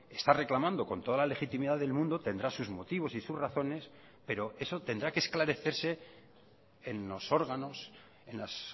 está reclamando con toda la legitimidad del mundo tendrá sus motivos y sus razones pero eso tendrá que esclarecerse en los órganos en los